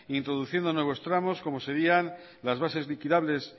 introduciendo nuevos tramos como serían las bases liquidables